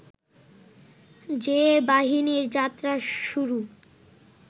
যে বাহিনীর যাত্রা শুরু